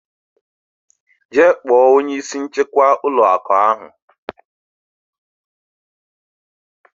Jee kpọọ onye isi nchekwa ụlọ akụ ahụ.